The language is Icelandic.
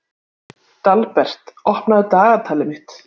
Dalbert, opnaðu dagatalið mitt.